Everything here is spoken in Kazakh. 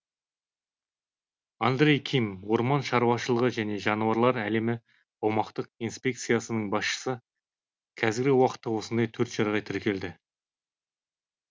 андрей ким орман шаруашылығы және жануарлар әлемі аумақтық инспекциясының басшысы қазіргі уақытта осындай төрт жағдай тіркелді